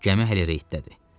Gəmi hələ reydədir.